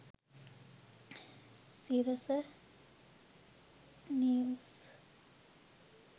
sirasa news